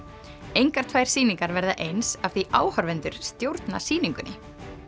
engar tvær sýningar verða eins af því áhorfendur stjórna sýningunni